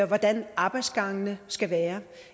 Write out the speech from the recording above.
hvordan arbejdsgangene skal være